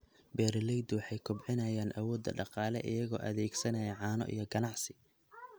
Beeraleydu waxay kobcinayaan awoodda dhaqaale iyagoo adeegsanaya caano iyo ganacsi.